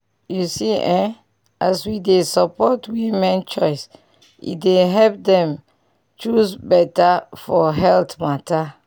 you see eh as we dey support women choice e dey help dem choose beta for health matter